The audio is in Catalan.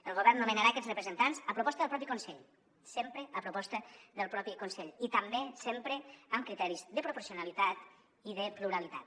el govern nomenarà aquests representants a proposta del propi consell sempre a proposta del propi consell i també sempre amb criteris de proporcionalitat i de pluralitat